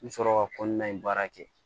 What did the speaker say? N bɛ sɔrɔ ka kɔnɔna in baara kɛ